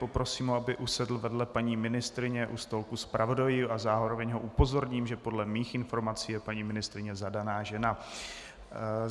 Poprosím ho, aby usedl vedle paní ministryni u stolku zpravodajů, a zároveň ho upozorním, že podle mých informací je paní ministryně zadaná žena.